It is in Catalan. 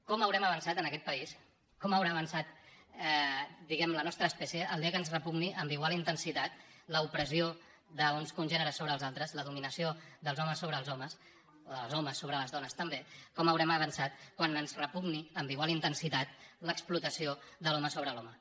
com haurem avançat en aquest país com haurà avançat diguem ne la nostra espècie el dia que ens repugni amb igual intensitat l’opressió d’uns congèneres sobre els altres la dominació dels homes sobre els homes o dels homes sobre les dones també com haurem avançat quan ens repugni amb igual intensitat l’explotació de l’home sobre l’home